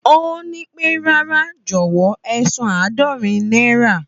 Ó nípé, rárá jọ̀wọ́ ẹsan àádorin náírà